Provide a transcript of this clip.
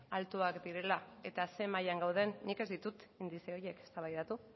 altuak direla eta ze mailan gauden nik ez ditut indize horiek eztabaidatu